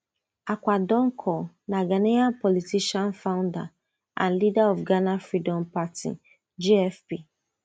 akua donkor na ghanaian politician founder and leader of ghana freedom party gfp